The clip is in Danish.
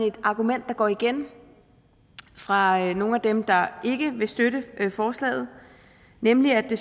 et argument der går igen fra nogle af dem der ikke vil støtte forslaget nemlig at det